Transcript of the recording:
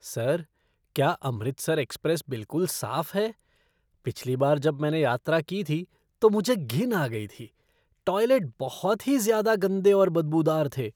Sir, क्या Amritsar express बिलकुल साफ है? पिछली बार जब मैंने यात्रा की थी, तो मुझे घिन आ गई थी। टॉयलेट बहुत ही ज़्यादा गंदे और बदबूदार थे।